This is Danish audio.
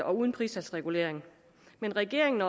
og uden pristalsregulering men regeringen